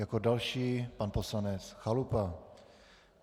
Jako další pan poslanec Chalupa.